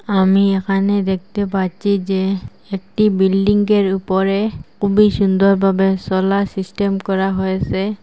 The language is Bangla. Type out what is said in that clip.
আমি এখানে দেখতে পাচ্ছি যে একটি বিল্ডিংঙ্গের উপরে খুবই সুন্দরভাবে সোলার সিস্টেম করা হয়েসে।